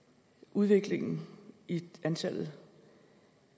udviklingen i antallet